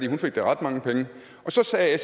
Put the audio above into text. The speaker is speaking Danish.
hun fik da ret mange penge så sagde